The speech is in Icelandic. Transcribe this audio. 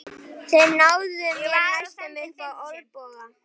Þeir náðu mér næstum upp á olnboga.